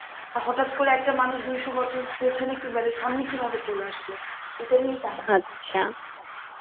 আর হঠাৎ করে একটা মানুষ দুইশোবছর পিছনে কিভাবে সামনে কিভাবে চলে আসলো এটা নিয়েই কাহিনী